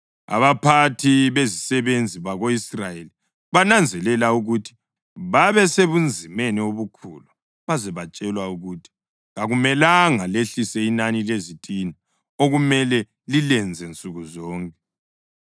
Abaphathi bezisebenzi bako-Israyeli bananzelela ukuthi babesebunzimeni obukhulu baze batshelwe ukuthi, “Kakumelanga lehlise inani lezitina okumele lilenze nsuku zonke.”